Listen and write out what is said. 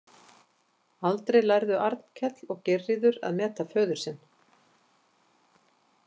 Aldrei lærðu Arnkell og Geirríður að meta föður sinn.